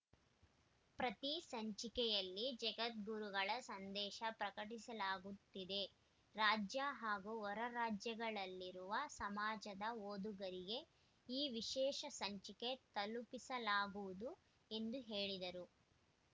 ಪ್ರತಿ ಸಂಚಿಕೆಯಲ್ಲಿ ಜಗದ್ಗುರುಗಳ ಸಂದೇಶ ಪ್ರಕಟಿಸಲಾಗುತ್ತಿದೆ ರಾಜ್ಯ ಹಾಗೂ ಹೊರರಾದಜ್ಯಗಳಲ್ಲಿರುವ ಸಮಾಜದ ಓದುಗರಿಗೆ ಈ ವಿಶೇಷ ಸಂಚಿಕೆ ತಲುಪಿಸಲಾಗುವುದು ಎಂದು ಹೇಳಿದರು